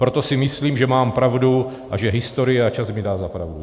Proto si myslím, že mám pravdu a že historie a čas mi dá za pravdu.